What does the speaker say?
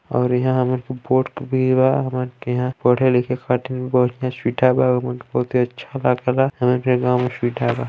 और इहा हमन बोर्ड भी बा हमन के इहा पढ़े लिखे खातिर भी बढ़िया सुविधा बा अउ हमन के बहुते अच्छा लागे ला हमन के गांव में सुविधा बा --